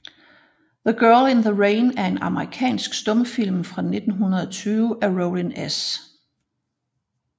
The Girl in the Rain er en amerikansk stumfilm fra 1920 af Rollin S